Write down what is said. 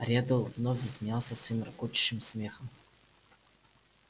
реддл вновь засмеялся своим рокочущим смехом